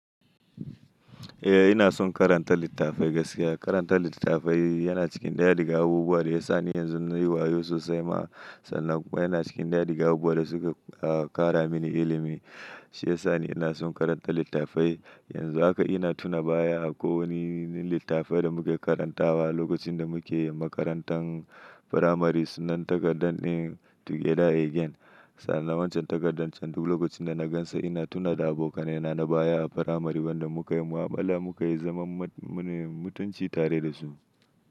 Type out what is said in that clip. Eh ina son karanta littafai gaskiya. Karanta littafai yana cikin daya daga abubuwan da ya sa ni yanzu nayi wayo sosai ma, sannan kuma yana cikin daya daga abubuwan da suka kara mini ilimi. Shi ya sa ni ina son karanta littafai. Yanzu haka ina tuna baya akwai wani littafin da muke karantawa lokacin da muke makarantar firamari sunan takardar din Together Again. Sannan wancan takardar can duk lokacin da na gan sa ina tuna da abokanai na baya a firamari wanda muka yi mu'amala muka yi zaman mutunci tare da su.